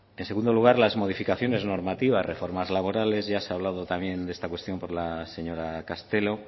en segundo lugar las modificaciones normativas reformas laborales ya se ha hablado también de esta cuestión por la señora castelo